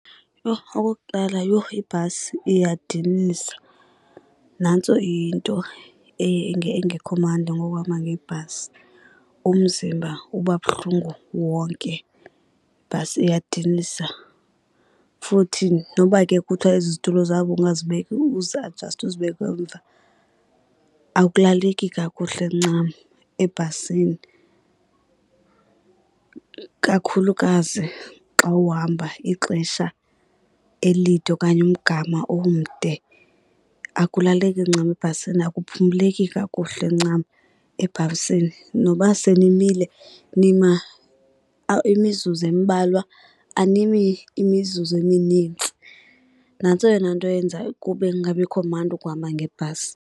Yho, okokuqala yho, ibhasi iyadinisa. Nantso into engekho mandi ngokuhamba ngebhasi, umzimba uba buhlungu wonke, ibhasi iyadinisa. Futhi noba ke kuthiwa ezi zitulo zabo ungazibeka uziajaste uzibeke emva, akulaleki kakuhle ncam ebhasini. Kakhulukazi xa uhamba ixesha elide okanye umgama omde, akulaleki ncam ebhasini, akuphumleki kakuhle ncam ebhasini. Noba senimile, nima mizuzu embalwa animi imizuzu eminintsi. Nantso eyona nto eyenza kube kungabikho mandi ukuhamba ngebhasi.